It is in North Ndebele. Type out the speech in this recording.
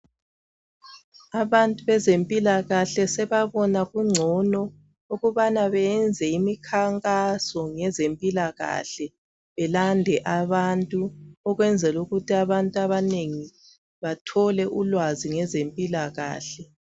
Abantu benzempilakahle sebabona kungcono ukubana beyenze imikhankaso ngeze mpilakahle belade abantu ukwenzela ukuthi abantu abanengi bathole ulwazi ngeze mpilakahle